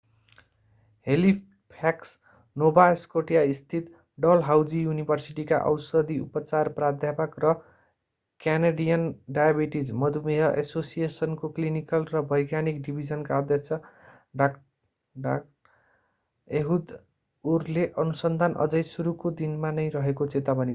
Halifax Nova Scotia स्थित Dalhousie युनिभर्सिटीका औषधि-उपचार प्राध्यापक र क्यानाडियन डायबिटीज मधुमेह एसोसिएशनको क्लिनिकल र वैज्ञानिक डिभिजनका अध्यक्ष डा. एहूद उरले अनुसन्धान अझै सुरुको दिनमा नै रहेको चेतावनी दिए।